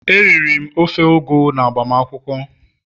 Eriri m ofe ugu n'agbamakwụkwọ